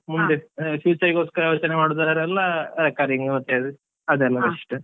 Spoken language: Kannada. ಮುಂದೆ future ಗೊಸ್ಕರೆಲ್ಲ ಯೋಚನೆ ಮಾಡುದಾದರೆ ಎಲ್ಲ recurring ಮತ್ತೆ ಅದೆಲ್ಲ best .